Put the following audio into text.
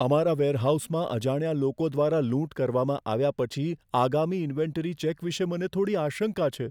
અમારા વેરહાઉસમાં અજાણ્યા લોકો દ્વારા લૂંટ કરવામાં આવ્યા પછી આગામી ઇન્વેન્ટરી ચેક વિશે મને થોડી આશંકા છે.